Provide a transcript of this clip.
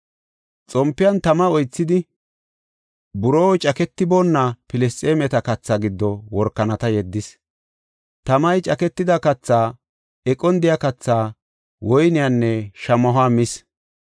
Xompiyan tama oythidi buroo caketiboona Filisxeemeta kathaa giddo workanata yeddis. Tamay caketida kathaa, eqon de7iya kathaa, woyniyanne shamahuwa mis.